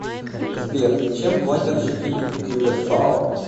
сбер чем платят жители кюрасао